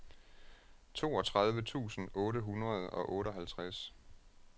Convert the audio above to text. toogtredive tusind otte hundrede og otteoghalvtreds